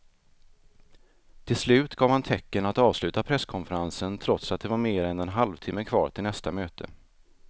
Till slut gav han tecken att avsluta presskonferensen trots att det var mer än en halvtimme kvar till nästa möte.